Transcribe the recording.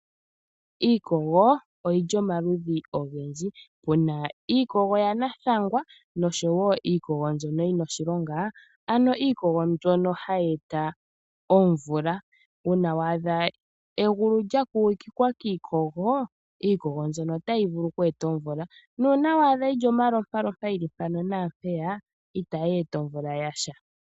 Iikogo oyi li omaludhi ogendji, puna iikogo ya nathangwa noshowo iikogo mbyono yi na oshilonga, ano iikogo mbyono hayi eta omvula. Uuna wa adha egulu lya kugikwa kiikogo, iikogo mbyono otayi vulu oku eta omvula. Nuuna wa adha yi li omalompalompa yili mpano naampeya itayi eta omvula yasha.